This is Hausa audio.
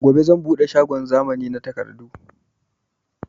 Gobe zan buɗe shagon zamani na takardu